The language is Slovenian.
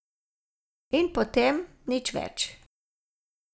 In potem nič več.